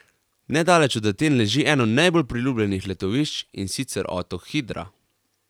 Nedaleč od Aten leži eno najbolj priljubljenih letovišč, in sicer otok Hidra.